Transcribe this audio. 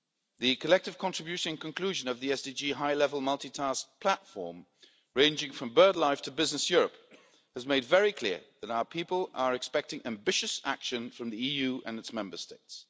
The collective contribution conclusion of the SDG high level multitask platform, ranging from birdlife to business Europe, has made very clear that our people are expecting ambitious action from the EU and its Member States.